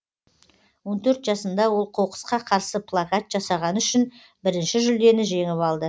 он төрт жасында ол қоқысқа қарсы плакат жасағаны үшін бірінші жүлдені жеңіп алды